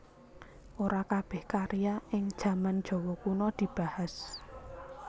Ora kabèh karya ing jaman Jawa Kuna dibahas